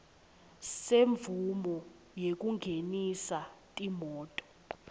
semvumo yekungenisa timoti